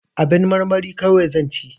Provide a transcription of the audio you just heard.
Abin marmari kawai zan ci